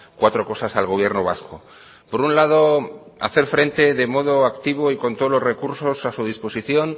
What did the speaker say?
cuatro cosas al gobierno vasco por un lado hacer frente de modo activo y con todos los recursos a su disposición